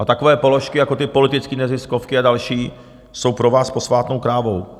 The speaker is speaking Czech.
A takové položky jako ty politické neziskovky a další jsou pro vás posvátnou krávou.